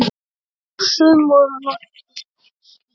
Og sum voru nokkuð skýr.